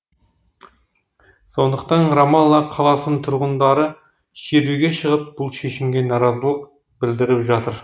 сондықтан рамалла қаласының тұрғындары шеруге шығып бұл шешімге наразылық білдіріп жатыр